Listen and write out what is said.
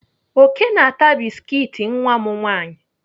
Oke na-ata biskit nwa m nwaanyị.